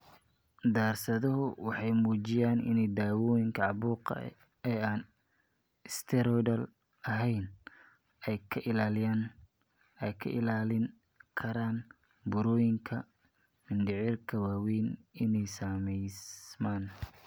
Daraasaduhu waxay muujiyeen in dawooyinka caabuqa ee aan steroidal ahayn ay ka ilaalin karaan burooyinka mindhicirka waaweyn inay samaysmaan.